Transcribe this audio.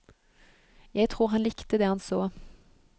Jeg tror han likte det han så.